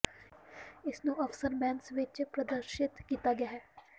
ਇਸ ਨੂੰ ਅਫ਼ਸਰ ਮੈੱਸ ਵਿਚ ਪ੍ਰਦਰਸ਼ਿਤ ਕੀਤਾ ਗਿਆ ਹੈ